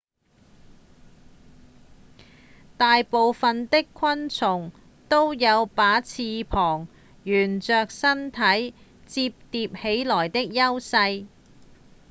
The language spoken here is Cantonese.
大部分的昆蟲都有把翅膀沿著身體摺疊起來之優勢